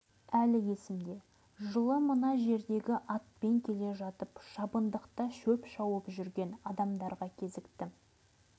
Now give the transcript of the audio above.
мейлі сізге де сол оқиғаны айтып берейін деп ақсақал тамағын қырнап қойды